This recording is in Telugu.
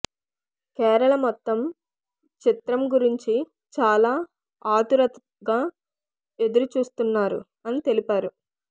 కేరళ మొత్తం చిత్రం గురించి చాలా ఆతురతగా ఎదురుచూస్తున్నారు అని తెలిపారు